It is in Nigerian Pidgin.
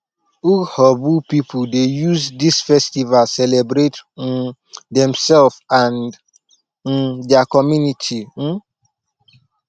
urhobo pipu dey use dis festival celebrate um demsef and um their community um